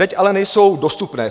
Teď ale nejsou dostupné.